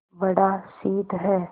बड़ा शीत है